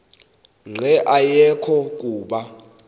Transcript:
nqe ayekho kuba